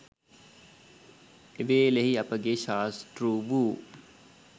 එවේලෙහි අපගේ ශාස්තෘ වූ